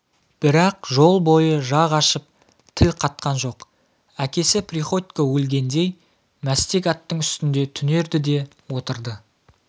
бірақ жол бойы жақ ашып тіл қатқан жоқ әкесі приходько өлгендей мәстек аттың үстінде түнерді де отырды